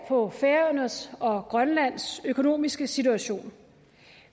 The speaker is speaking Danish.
på færøernes og grønlands økonomiske situation